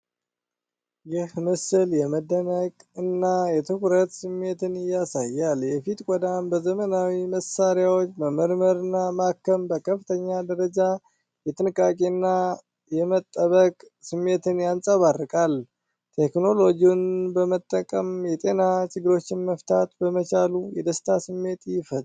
ይህ ምስል የመደነቅ እና የትኩረት ስሜት ያሳያል። የፊት ቆዳን በዘመናዊ መሳሪያዎች መመርመርና ማከም በከፍተኛ ደረጃ የጥንቃቄ እና የመጠበቅ ስሜትን ያንጸባርቃል። ቴክኖሎጂውን በመጠቀም የጤና ችግሮችን መፍታት በመቻሉ የደስታ ስሜት ይፈጥራል።